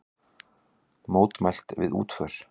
Mótmælt við útför